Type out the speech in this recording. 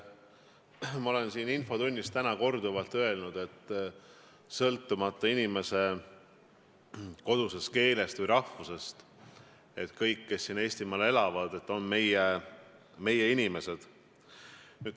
Ma olen siin infotunnis täna korduvalt öelnud, et kodusest keelest või rahvusest sõltumata on kõik, kes siin Eestimaal elavad, meie inimesed.